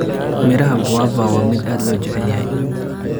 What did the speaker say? Midhaha guava waa mid aad loo jecel yahay.